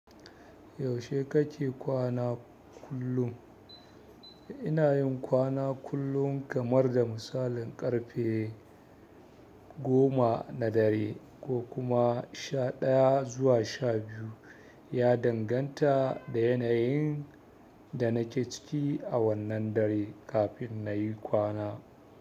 Yaushe kake kwana kullum? Ina yin kwana kullum kamar da misalin ƙarfe goma na dare ko kuma sha ɗaya zuwa sha biyu. Ya danganta da yanayin da nake ciki a wannan dare kafin na yi kwana.